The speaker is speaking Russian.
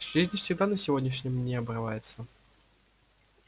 жизнь всегда на сегодняшнем обрывается